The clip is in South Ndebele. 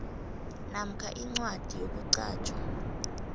namkha incwadi yokuqatjhwa